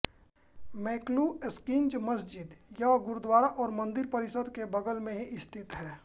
मैकलुस्कीगंज मस्जिद यह गुरुद्वारा और मंदिर परिसर के बगल में ही स्थित है